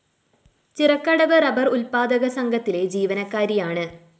Chirakkadavu rubber ഉല്‍പ്പാദക സംഘത്തിലെ ജീവനക്കാരിയാണ്